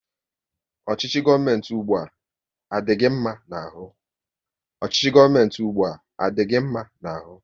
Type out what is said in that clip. Ọchịchị gọọmenti ụgbụa, a dị gị mma n'ahụ?